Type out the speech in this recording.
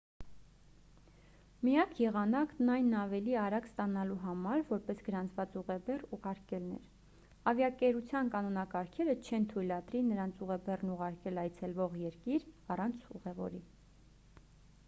միակ եղանակն այն ավելի արագ ստանալու համար որպես գրանցված ուղեբեռ ուղարկելն էր ավիաընկերության կանոնակարգերը չեն թույլատրի նրանց ուղեբեռն ուղարկել այցելվող երկիր առանց ուղևորի